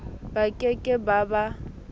ba ke ke ba ba